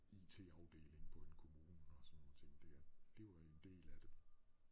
IT-afdeling på en kommune og sådan nogle ting der det var en del af det